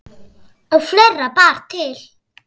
Og fleira bar til.